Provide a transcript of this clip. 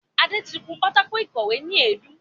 Adé tí kún pátákò ìkọ́we ni èédú